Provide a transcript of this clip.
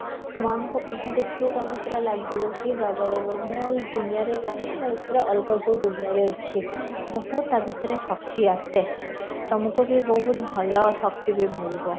ମାଆଙ୍କ ମୁହଁ ଦେଖିଲେ ତମେ ପୁରା ଲାଗିବ କି ବାବାରେ ବାବା ମୁଁ ଆଉ ଏ ଦୁନିଆଁରେ ନାହିଁ ମୁଁ ଆଉ ଅଲଗା କଉ ଦୁନିଆଁରେ ଅଛି, ବହୁତ ତା' ଭିତରେ ଶକ୍ତି ଆସେ, ତମକୁ ବି ବହୁତ ଭଲ ଶକ୍ତି ବି ମିଳିବ